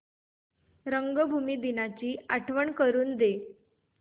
रंगभूमी दिनाची आठवण करून दे